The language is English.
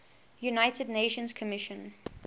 united nations commission